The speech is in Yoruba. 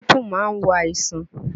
Gíréèpù máa wo àìsàn